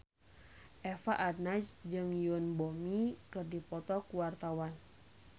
Eva Arnaz jeung Yoon Bomi keur dipoto ku wartawan